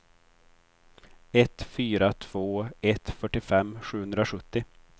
ett fyra två ett fyrtiofem sjuhundrasjuttio